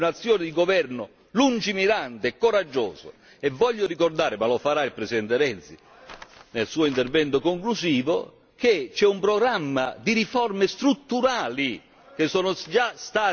E voglio ricordare, ma lo farà il presidente Renzi nel suo intervento conclusivo, che c'è un programma di riforme strutturali che sono già state iniziate e che saranno portate avanti.